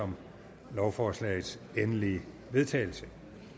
om lovforslagets endelige vedtagelse